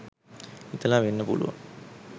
හිතලා වෙන්න පුළුවන්.